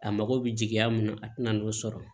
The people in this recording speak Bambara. A mago bɛ jigiya mun na a tɛna n'o sɔrɔ